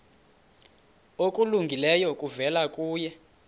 okulungileyo kuvela kuye